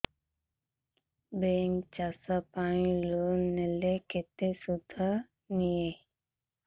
bank ଚାଷ ପାଇଁ loan ଦେଲେ କେତେ ସୁଧ ନିଏ